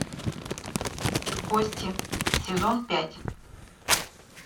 кости сезон пять